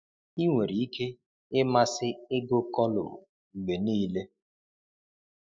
Ị nwere ike ịmasị ịgụ kọlụm mgbe niile.